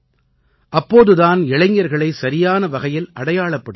அப்போது தான் இளைஞர்களை சரியான வகையில் அடையாளப்படுத்த முடியும்